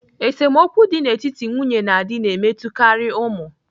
Esemokwu dị n'etiti nwunye na di na-emetụtakarị ụmụ.